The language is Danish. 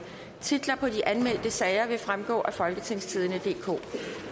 titler på de anmeldte sager vil fremgå af folketingstidende DK